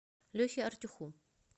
лехе артюху